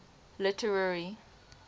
literary